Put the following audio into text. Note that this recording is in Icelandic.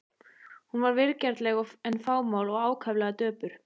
Hún var vingjarnleg en fámál og ákaflega döpur.